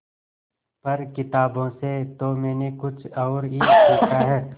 पर किताबों से तो मैंने कुछ और ही सीखा है